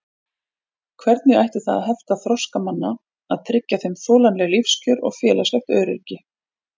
Hvernig ætti það að hefta þroska manna að tryggja þeim þolanleg lífskjör og félagslegt öryggi?